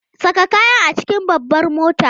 Saka kayan a cikin babbar motata!